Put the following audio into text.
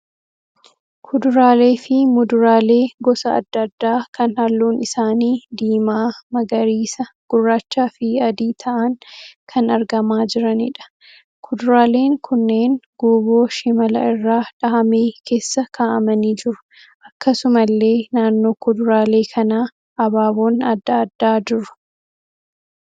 Kuduraalee fi muduraalee gosa adda addaa kan halluun isaanii diimaa, magariisa, gurraachaa fi adii ta'aan kan argamaa jiraniidha. Kuduraaleen kunneen guuboo shimala irraa dhahamee keessa ka'aamanii jiru. Akkasumallee naannoo kuduraalee kanaa abaaboon adda addaa jiru.